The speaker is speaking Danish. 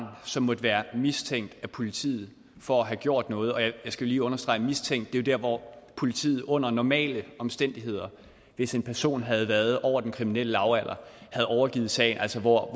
som måtte være mistænkt af politiet for at have gjort noget og jeg skal lige understrege at mistænkt jo er der hvor politiet under normale omstændigheder hvis en person havde været over den kriminelle lavalder havde overgivet sagen altså hvor